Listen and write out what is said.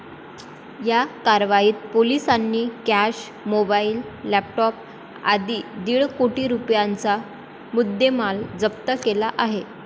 या कारवाईत पोलिसांनी कॅश, मोबाईल, लॅपटॉप आदी दिड कोटी रुपयांचा मुद्देमाल जप्त केला आहे.